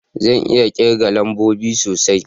Zan iya kirga lambobi sosai